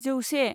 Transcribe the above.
जौसे